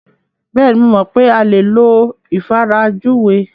Bẹ́ẹ̀ni, mo mọ̀ pé a lè lo ìfarajúwe.